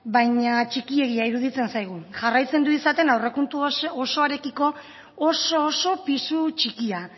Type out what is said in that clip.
baina txikiegia iruditzen zaigu jarraitzen du izaten aurrekontu osoarekiko oso oso pisu txikia